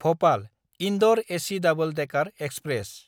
भपाल–इन्दर AC double decker express